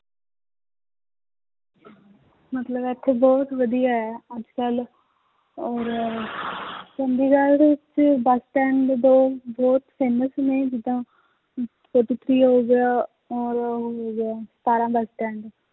ਮਤਲਬ ਇੱਥੇ ਬਹੁਤ ਵਧੀਆ ਹੈ ਅੱਜ ਕੱਲ੍ਹ ਔਰ ਚੰਡੀਗੜ੍ਹ ਵਿੱਚ ਬਸ stand ਵੀ ਬਹੁਤ ਬਹੁਤ famous ਨੇ ਜਿੱਦਾਂ ਅਮ ਹੋ ਗਿਆ, ਔਰ ਉਹ ਹੋ ਗਿਆ ਸਤਾਰਾਂ